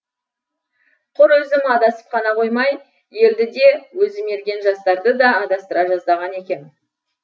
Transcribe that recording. құр өзім адасып қана қоймай елді де өзі мерген жастарды да адастыра жаздаған екем